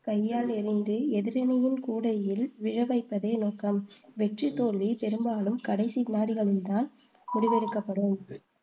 கையால் எறிந்து எதிரணியின் கூடையில் விழ வைப்பதே நோக்கம். வெற்றி, தோல்வி பெரும்பாலும் கடைசி வினாடிகளில் தான் முடிவெடுக்கப்படும்